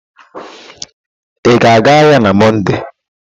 Ị ga-aga ahịa na Mọnde?